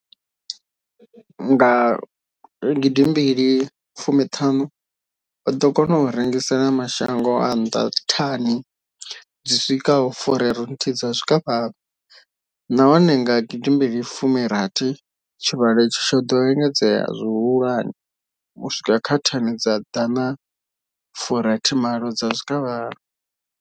Nga gidi mbili fumi thanu, o ḓo kona u rengisela mashango a nnḓa thani dzi swikaho furaru thihi dza zwikavhavhe, nahone nga gidi mbili fumi rathi tshivhalo itshi tsho ḓo engedzea zwihulwane u swika kha thani dza Dana furathi malo dza zwikavhavhe.